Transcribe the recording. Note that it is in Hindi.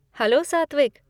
हैलो, सात्विक!